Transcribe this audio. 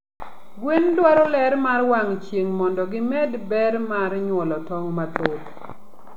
Gwen dwaro ler mar wang chieng mondo gi med ber mar nyuolo tong mathoth